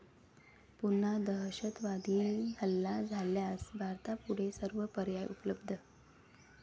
पुन्हा दहशतवादी हल्ला झाल्यास भारतापुढे सर्व पर्याय उपलब्ध